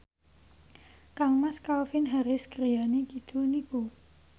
kangmas Calvin Harris griyane kidul niku